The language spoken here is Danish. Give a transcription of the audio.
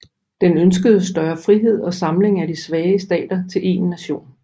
Den ønskede større frihed og samling af de svage stater til én nation